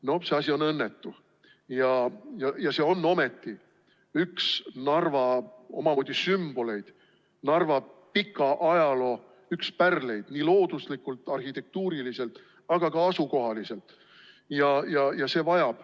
No see asi on õnnetu ja see on ometi üks Narva omamoodi sümboleid, Narva pika ajaloo üks pärleid nii looduslikult, arhitektuuriliselt kui ka asukoha poolest.